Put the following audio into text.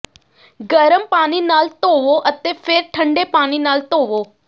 ਗਰਮ ਪਾਣੀ ਨਾਲ ਧੋਵੋ ਅਤੇ ਫਿਰ ਠੰਢੇ ਪਾਣੀ ਨਾਲ ਧੋਵੋ